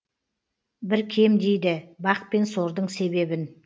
бір кем дейді бақ пен сордың себебін